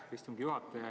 Aitäh, istungi juhataja!